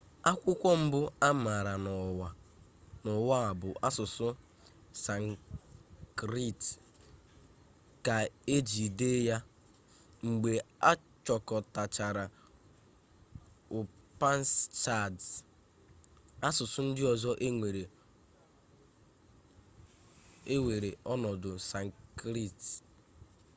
akwụkwọ mbụ a maara n'ụwa a bụ asụsụ sanskrit ka e ji dee ya mgbe a chịkọtachara upanishads asụsụ ndị ọzọ ewere ọnọdụ sanskrit